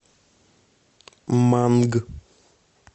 манг